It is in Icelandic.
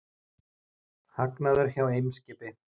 Hagnaður hjá Eimskipi